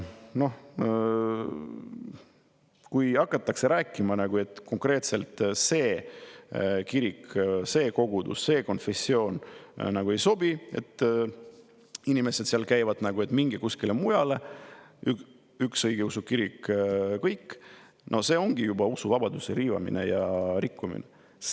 Kui hakatakse rääkima, et konkreetselt see kirik, see kogudus, see konfessioon nagu ei sobi, et inimesed, kes seal käivad, mingu kuskile mujale, et üks õigeusu kirik kõik, siis no see ongi juba usuvabaduse riivamine ja rikkumine.